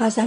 آن کس